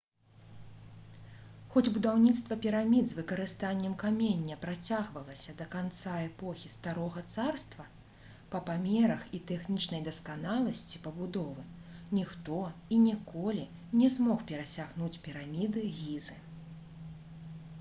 хоць будаўніцтва пірамід з выкарыстаннем камення працягвалася да канца эпохі старога царства па памерах і тэхнічнай дасканаласці пабудовы ніхто і ніколі не змог перасягнуць піраміды гізы